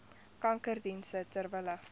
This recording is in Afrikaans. kankerdienste ter wille